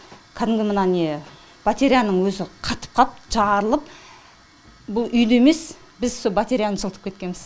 кәдімгі мына не батареяның өзі қатып қап жарылып бұл үйді емес біз со батареяны жылытып кеткенбіз